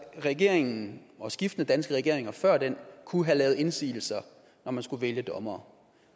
regeringen og skiftende danske regeringer før den kunne have lavet indsigelser når man skulle vælge dommere